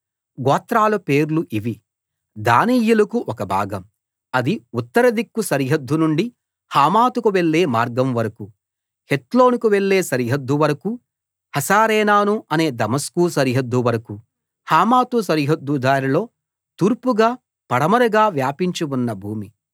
గోత్రాల పేర్లు ఇవి దానీయులకు ఒక భాగం అది ఉత్తరదిక్కు సరిహద్దు నుండి హమాతుకు వెళ్ళే మార్గం వరకూ హెత్లోనుకు వెళ్ళే సరిహద్దు వరకూ హసరేనాను అనే దమస్కు సరిహద్దు వరకూ హమాతు సరిహద్దు దారిలో తూర్పుగా పడమరగా వ్యాపించి ఉన్న భూమి